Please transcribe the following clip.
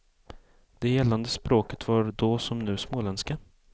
Det gällande språket var då som nu småländska.